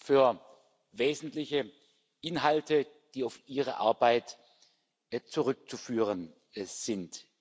für wesentliche Inhalte, die auf seine Arbeit zurückzuführen sind.